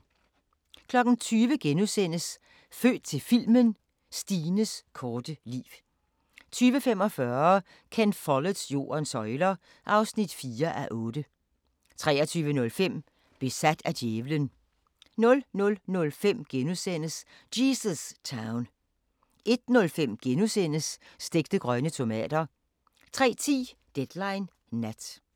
20:00: Født til filmen – Stines korte liv * 20:45: Ken Folletts Jordens søjler (4:8) 23:05: Besat af djævelen 00:05: Jesus Town * 01:05: Stegte grønne tomater * 03:10: Deadline Nat